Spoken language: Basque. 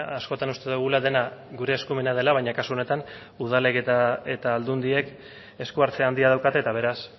askotan uste dugula dena gure eskumena dela baina kasu honetan udalek eta aldundiek esku hartze handia daukate eta beraz